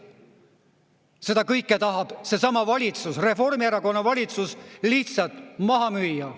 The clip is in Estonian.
Seda kõike tahab seesama valitsus, Reformierakonna valitsus, lihtsalt maha müüa.